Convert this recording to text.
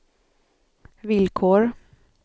villkor